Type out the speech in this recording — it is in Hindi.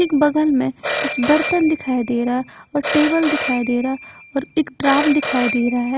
एक बगल में कुछ बर्तन दिखाई दे रहा और टेबल दिखाई दे रहा और ड्राम दे रहा--